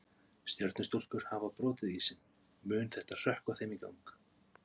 Stjörnustúlkur hafa brotið ísinn, mun þetta hrökkva þeim í gang?